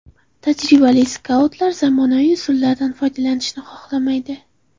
Tajribali skautlar zamonaviy usullardan foydalanishni xohlamaydi.